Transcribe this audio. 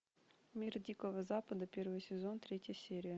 мир дикого запада первый сезон третья серия